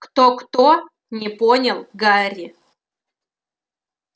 кто-кто не понял гарри